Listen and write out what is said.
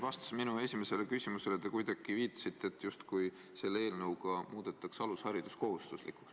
Vastuses minu esimesele küsimusele te kuidagi viitasite, justkui selle eelnõuga muudetakse alusharidus kohustuslikuks.